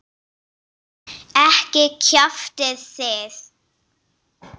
Ekki kjaftið þið.